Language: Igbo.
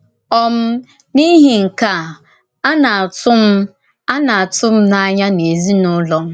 um N’ìhì nke a, a na-ătù m a na-ătù m n’ànyà n’èzinùlọ m.